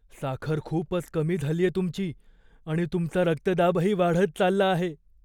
साखर खूपच कमी झालीये तुमची आणि तुमचा रक्तदाबही वाढत चालला आहे.